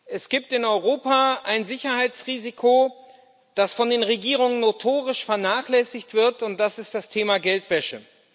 Es gibt in Europa ein Sicherheitsrisiko, das von den Regierungen notorisch vernachlässigt wird, und das ist das Thema Geldwäsche.